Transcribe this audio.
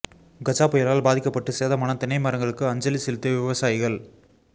கஜா புயலால் பாதிக்கப்பட்டு சேதமான தென்னை மரங்களுக்கு அஞ்சலி செலுத்திய விவசாயிகள்